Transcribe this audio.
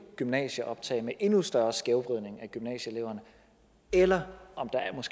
gymnasieoptag med endnu større skævvridning af gymnasieeleverne eller